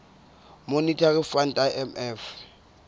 monetary fund imf